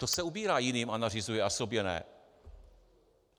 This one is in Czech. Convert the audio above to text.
To se ubírá jiným a nařizuje, a sobě ne.